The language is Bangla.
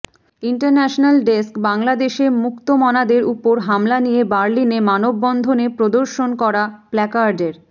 ইন্টারন্যাশনাল ডেস্কঃ বাংলাদেশে মুক্তমনাদের উপর হামলা নিয়ে বার্লিনে মানববন্ধনে প্রদর্শন করা প্ল্যাকার্ডের